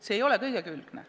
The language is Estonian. See ei ole igakülgne.